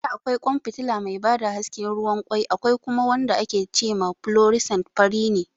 A da akwai ƙwan fitila mai ba da haske ruwan ƙwai, akwai kuma wanda ake ce ma "fluorescent", fari ne.